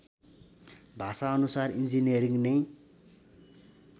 भाषाअनुसार engineering नै